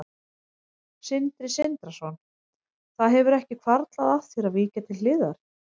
Sindri Sindrason: Það hefur ekki hvarflað að þér að víkja til hliðar?